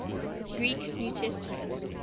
greek new testament